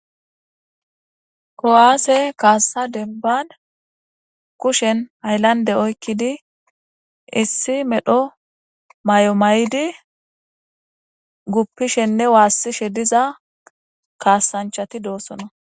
Ko'aase kaassa debban kushen hayllande oykkidi issi medho may'o may'di guppishenne waassishe diza kaasanchati doossona.